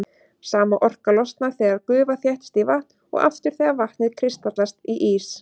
Sama orka losnar þegar gufa þéttist í vatn og aftur þegar vatnið kristallast í ís.